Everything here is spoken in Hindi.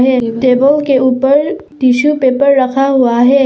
ये टेबल के ऊपर टिशू पेपर रखा हुआ है।